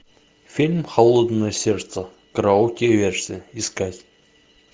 фильм холодное сердце караоке версия искать